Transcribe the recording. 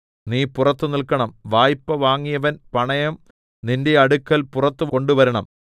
നീ പുറത്തു നില്‍ക്കണം വായ്പ്പ വാങ്ങിയവൻ പണയം നിന്റെ അടുക്കൽ പുറത്തു കൊണ്ടുവരണം